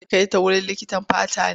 Zai ka kai ta wurin likitan fata ne?